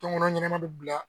Tɔnkɔnɔ ɲɛnama bɛ bila